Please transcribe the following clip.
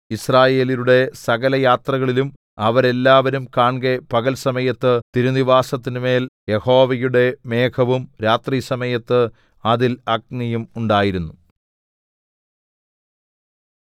യിസ്രായേല്യരുടെ സകലയാത്രകളിലും അവരെല്ലാവരും കാൺകെ പകൽ സമയത്ത് തിരുനിവാസത്തിന്മേൽ യഹോവയുടെ മേഘവും രാത്രിസമയത്ത് അതിൽ അഗ്നിയും ഉണ്ടായിരുന്നു